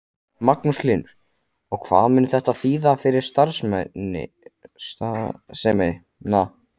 Magnús Hlynur: Og hvað mun þetta þýða fyrir starfsemina?